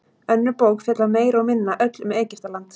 önnur bók fjallar meira og minna öll um egyptaland